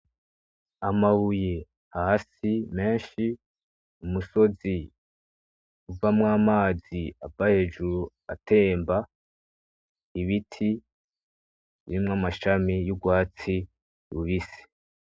Amabuye hasi, menshi , umusozi uvamwo amazi ,ava hejuru atemba ,ibiti birimwo amashami asa n'urwatsi rubisi.